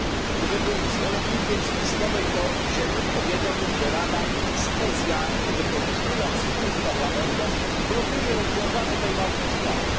Gdybym był zwolennikiem spiskowej teorii dziejów, powiedziałbym, że Rada specjalnie, wykorzystując spór z Parlamentem, blokuje rozwiązanie tej ważnej sprawy.